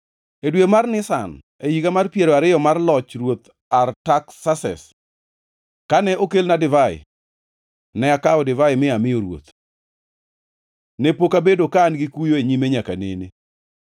E dwe mar Nisan e higa mar piero ariyo mar loch Ruoth Artaksases, kane okelne divai, ne akawo divai mi amiyo ruoth. Ne pok abedo ka an gi kuyo e nyime nyaka nene;